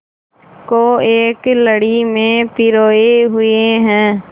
को एक लड़ी में पिरोए हुए हैं